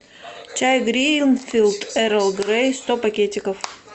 чай гринфилд эрл грей сто пакетиков